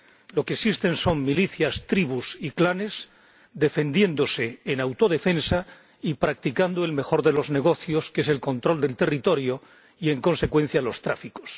Lo que existen son milicias, tribus y clanes defendiéndose en autodefensa y practicando el mejor de los negocios, que es el control del territorio y, en consecuencia, de los tráficos.